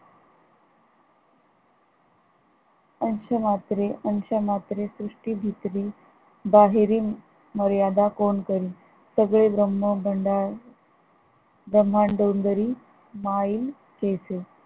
अंश मात्रे अंश मात्रे सृष्टी भित्री बाहेरील मर्यादा कोण करीन? सगळे ब्रह्म भंडा ब्रम्हाडोंगरी माईल कैसे?